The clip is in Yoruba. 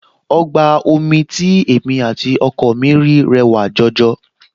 Ọgbà omi tí èmi àti ọkọ mi rí rẹwà jọjọ